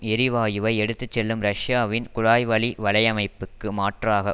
எரிவாயுவை எடுத்து செல்லும் ரஷ்யாவின் குழாய்வழி வலையமைப்புக்கு மாற்றாக